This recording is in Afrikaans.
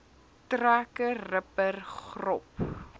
trekker ripper grop